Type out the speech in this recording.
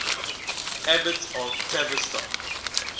abbots of tavistock